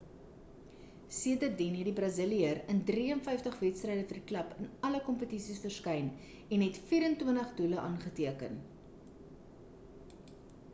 sedertien het die braziliër in 53 wedstryde vir die klub in alle kompetisies verskyn en het 24 doele aangeteken